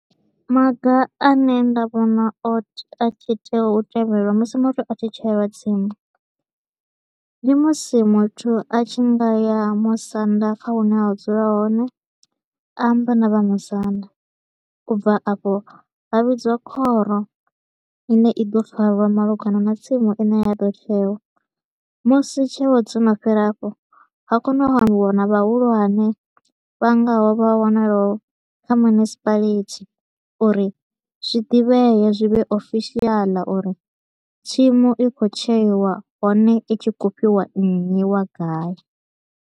Maga a ne nda vhona o te a tshi tea u tevhelwa musi muthu a tshi tsheelwa tsimu, ndi musi muthu a tshi nga ya musanda kha hune a dzula hone, a amba na vhamusanda. U bva afho ha vhidziwa khoro i ne i ḓo farwa malugana na tsimu i ne ya tea u tshewa, musi tsheo dzo no fhela afho, ha kona u ambiwa na vhahulwane vha ngaho vha wanalaho kha municipality uri zwi ḓivhee zwi vhe oficial uri tsimu i kho u tsheiwa, hone i tshi kho u fhiwa nnyi wa gai.